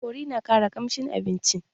Kori na ƙara ƙamshin abinci